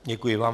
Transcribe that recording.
Děkuji vám.